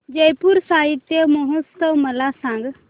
जयपुर साहित्य महोत्सव मला सांग